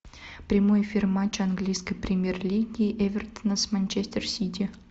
прямой эфир матча английской премьер лиги эвертон с манчестер сити